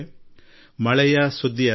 ಇದರೊಂದಿಗೆ ತಾಜಾತನದ ಅನುಭವವೂ ಆಗುತ್ತಿದೆ